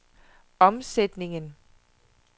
omsætningen